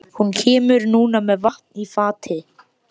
Hún kemur núna með vatn í fati.